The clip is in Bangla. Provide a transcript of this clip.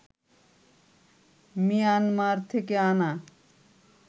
মিয়ানমার থেকে আনা